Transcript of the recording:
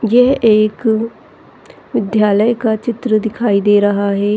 यह एक विद्यालय का चित्र दिखाई दे रहा है।